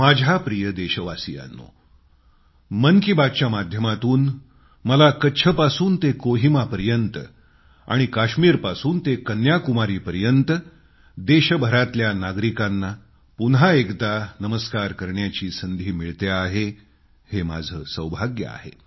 माझ्या प्रिय देशवासियांनो मन की बातच्या माध्यमातून मला कच्छपासून ते कोहिमापर्यंत आणि काश्मिरपासून ते कन्याकुमारीपर्यंत देशभरातल्या नागरिकांना पुन्हा एकदा नमस्कार करण्याची संधी मिळतेय हे माझं सौभाग्य आहे